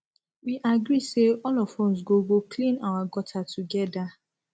we agree say all of us go go clean our gutter together